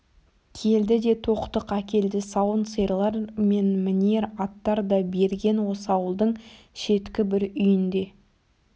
келді де тоқтық әкелді сауын сиырлар мен мінер аттар да берген осы ауылдың шеткі бір үйінде